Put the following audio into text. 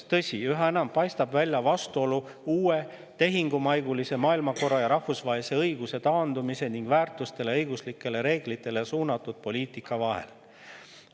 Tõsi, üha enam paistab välja vastuolu uue, tehingumaigulise maailmakorra ja rahvusvahelise õiguse taandumise ning väärtustele ja õiguslikele reeglitele suunatud poliitika vahel.